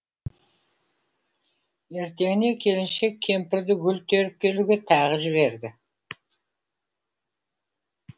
ертеңіне келіншек кемпірді гүл теріп келуге тағы жіберді